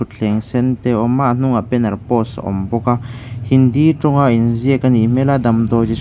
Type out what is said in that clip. thleng sen te awm a a hnungah banner post a awm bawk a hindi tawnga inziak a nih hmel a damdawi chi --